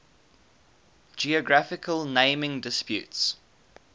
geographical naming disputes